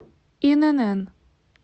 инн